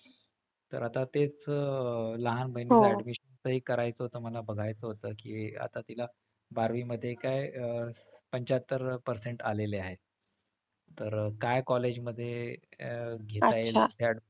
तर आता तेच लहान बहिणीच्या admission च एक करायचं होत मला बघायचं होत कि आता तिला बारावीमध्ये काय अह पंच्याहत्तर percent आलेले आहे, तर काय college मध्ये घेता येईल?